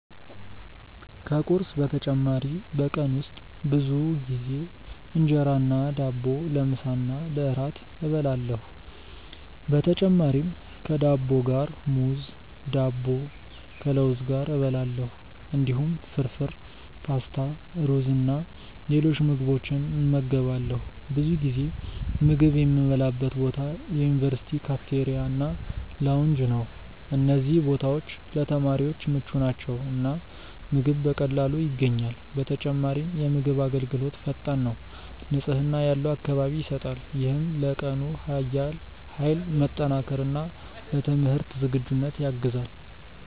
ከቁርስ በተጨማሪ በቀን ውስጥ ብዙ ጊዜ እንጀራ እና ዳቦ ለምሳ እና ለእራት እበላለሁ። በተጨማሪም ከዳቦ ጋር ሙዝ፣ ዳቦ ከለውዝ ጋር እበላለሁ። እንዲሁም ፍርፍር፣ ፓስታ፣ ሩዝ እና ሌሎች ምግቦችን እመገባለሁ። ብዙ ጊዜ ምግብ የምበላበት ቦታ የዩኒቨርሲቲ ካፍቴሪያ እና ላውንጅ ነው። እነዚህ ቦታዎች ለተማሪዎች ምቹ ናቸው እና ምግብ በቀላሉ ይገኛል። በተጨማሪም የምግብ አገልግሎት ፈጣን ነው፣ ንጽህና ያለው አካባቢ ይሰጣል። ይህም ለቀኑ ኃይል መጠናከር እና ለትምህርት ዝግጁነት ያግዛል።